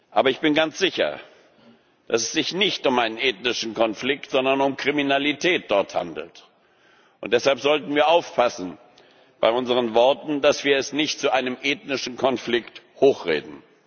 Aber ich bin ganz sicher, dass es sich dort nicht um einen ethnischen Konflikt, sondern um Kriminalität handelt. Und deshalb sollten wir aufpassen bei unseren Worten, dass wir es nicht zu einem ethnischen Konflikt hochreden.